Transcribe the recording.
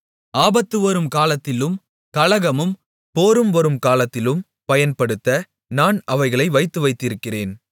ஆபத்துவரும் காலத்திலும் கலகமும் போரும் வரும் காலத்திலும் பயன்படுத்த நான் அவைகளை வைத்துவைத்திருக்கிறேன்